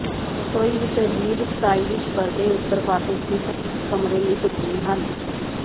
ਰਸੋਈ ਵਿੱਚ ਅਜੀਬ ਸਟਾਈਲਿਸ਼ ਪਰਦੇ ਉੱਤਰ ਪਾਸੇ ਸਥਿਤ ਇਕ ਕਮਰੇ ਲਈ ਢੁਕਵੇਂ ਹਨ